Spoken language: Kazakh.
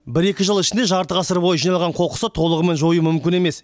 бір екі жыл ішінде жарты ғасыр бойы жиналған қоқысты толығымен жою мүмкін емес